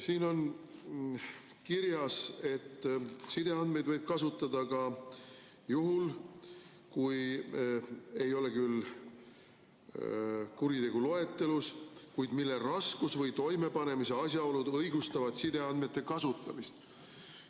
Siin on kirjas, et sideandmeid võib kasutada ka juhul, kui ei ole küll kuritegu loetelus, kuid mille raskus või toimepanemise asjaolud õigustavad sideandmete kasutamist.